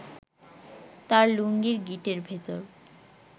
তাঁর লুঙ্গির গিঁটের ভেতর